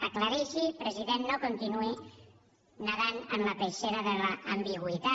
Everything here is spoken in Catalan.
aclareixi president no continuï nedant en la peixera de l’ambigüitat